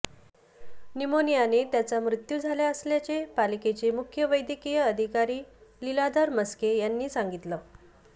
न्यूमोनियाने त्याचा मृत्यू झाला असल्याचे पालिकेचे मुख्य वैद्यकीय अधिकारी लीलाधर म्हस्के यांनी सांगितले